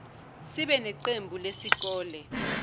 sibe neqembu lesikole